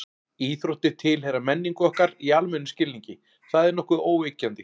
Íþróttir tilheyra menningu okkar í almennum skilningi, það er nokkuð óyggjandi.